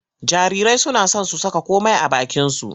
Jarirai suna son su saka komai a bakinsu.